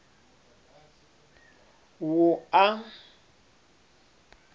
wua